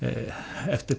eftir